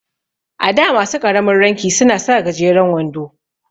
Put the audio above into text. A da masu ƙaramin ranki suna sa gajeren wando.